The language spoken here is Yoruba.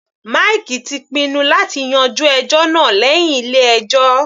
Mike ti pinnu láti yanjú ẹjọ́ náà lẹ́hìn ilé ẹjọ́.